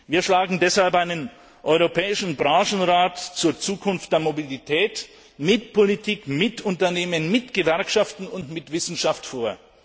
Wir schlagen deshalb einen europäischen Branchenrat zur Zukunft der Mobilität mit Politik, Unternehmen, Gewerkschaften und Wissenschaft vor.